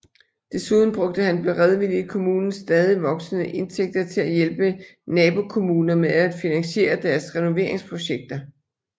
Desuden brugte han beredvilligt kommunens stadigt voksende indtægter til at hjælpe nabokommuner med at finansiere deres renoveringsprojekter